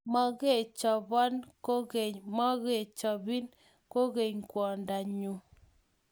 Mokechobon kokeny mokechobin kokeny kwongdo nyu.